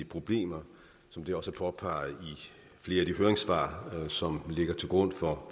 problemer som det også er påpeget i flere af de høringssvar som ligger til grund for